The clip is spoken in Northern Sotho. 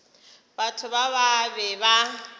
batho ba ba be ba